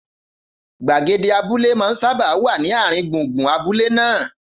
Gbagede abúlé máa ń sábà wà ní àárín gbùngbùn abúlé náà